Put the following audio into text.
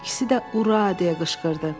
İkisi də Ura deyə qışqırdı.